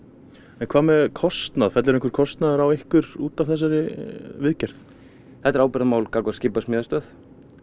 en hvað með kostnað fellur einhver kostnaður á ykkur út af þessari viðgerð þetta er ábyrgðarmál gagnvart skipasmíðastöð